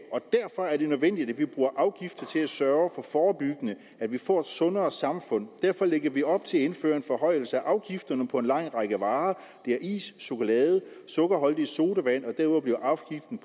og derfor er det nødvendigt at vi bruger afgifter til at sørge for forebyggende at vi får et sundere samfund derfor lægger vi op til at indføre en forhøjelse af afgifterne på en lang række varer det er is chokolade sukkerholdige sodavand